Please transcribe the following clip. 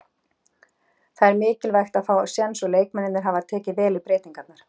Það er mikilvægt að fá séns og leikmennirnir hafa tekið vel í breytingarnar.